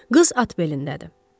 Qız at belindədir.